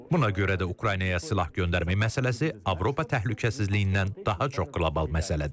Buna görə də Ukraynaya silah göndərmə məsələsi Avropa təhlükəsizliyindən daha çox qlobal məsələdir.